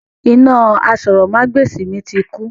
Iná àsòrọmagbesi mi ti kú.